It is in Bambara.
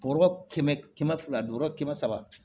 Bɔrɔ kɛmɛ kɛmɛ fila don yɔrɔ kɛmɛ saba